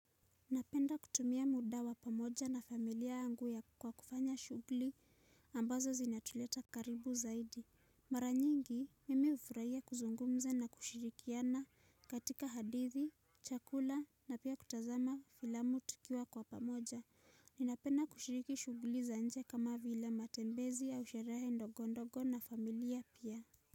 Napenda kutumia muda wa pamoja na familia yangu kwa kufanya shughuli ambazo zinatuleta karibu zaidi. Mara nyingi, mimi hufurahia kuzungumza na kushirikiana katika hadithi, chakula na pia kutazama filamu tukiwa kwa pamoja. Ninapenda kushiriki shughuli za nje kama vila matembezi au sherehe ndogondogo na familia pia.